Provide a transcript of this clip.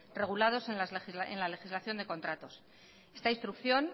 regulados en la legislación de contratos esta instrucción